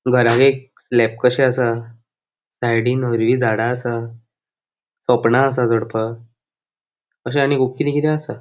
घरान एक स्लैप कशे आसा साइडीन हरवी झाडा आसा सोपणा आसा चढपाक अशे आणि खूप किदे किदे आसा.